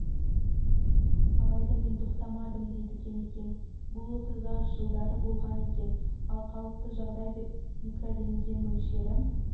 алайда мен тоқтамадым дейді кемекең бұл оқиға жылдары болған екен ал қалыпты жағдай деп микрорентген мөлшері